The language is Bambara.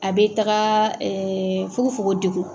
A bɛ taga fogo fogo degun.